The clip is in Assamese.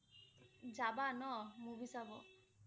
যাবা ন? movie চাব?